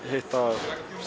hitta